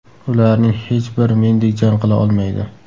Ularning hech bir mendek jang qila olmaydi.